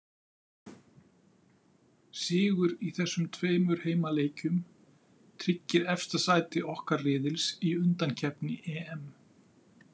Sigur í þessum tveimur heimaleikjum tryggir efsta sæti okkar riðils í undankeppni EM.